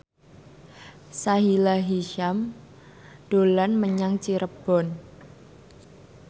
Sahila Hisyam dolan menyang Cirebon